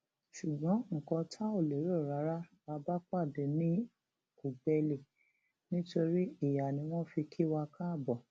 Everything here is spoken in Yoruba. ṣùgbọn nǹkan tá ò lérò rárá la bá pàdé ní ùgbẹlì nítorí ìyá ni wọn fi kí wa káàbọ